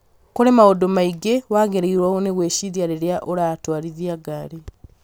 Kũrĩ maũndũ maingĩ wagĩrĩirũo nĩ gwĩciria rĩrĩa ũratwarithia ngari